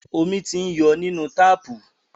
Omi ti ń yọ nínú táàpù.